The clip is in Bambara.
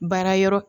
Baara yɔrɔ